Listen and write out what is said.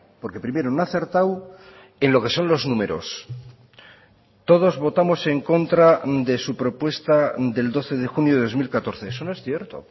porque primero no ha acertado en lo que son los números todos votamos en contra de su propuesta del doce de junio de dos mil catorce eso no es cierto